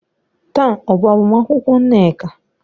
Taa ọ bụ agbamakwụkwọ Nneka?